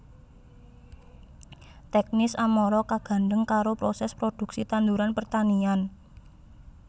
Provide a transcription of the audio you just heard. Teknis amara kagandhèng karo prosès prodhuksi tanduran pertanian